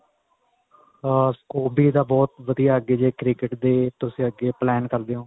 ਏ ਆ scope ਵੀ ਇੱਦਾ ਬਹੁਤ ਵਧੀਆ ਅੱਗੇ ਜੇ cricket ਦੇ ਤੁਸੀਂ ਅੱਗੇ plain ਕਰਦੇ ਓ